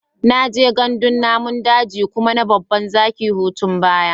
Na je gandun namun daji kuma na babban zaki hutun baya.